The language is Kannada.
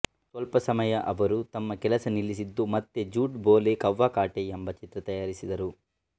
ಸ್ವಲ್ಪ ಸಮಯ ಅವರು ತಮ್ಮ ಕೆಲಸ ನಿಲ್ಲಿಸಿದ್ದು ಮತ್ತೆ ಝೂಟ್ ಬೋಲೆ ಕವ್ವಾ ಕಾಟೆ ಎಂಬ ಚಿತ್ರ ತಯಾರಿಸಿದರು